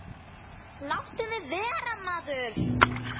Láttu mig vera maður.